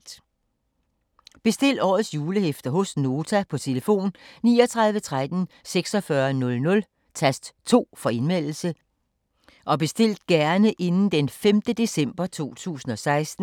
Bestil årets julehæfter hos Nota på telefon 39 13 46 00, tast 2 for Indmeldelse. Bestil gerne inden d. 5. december 2016.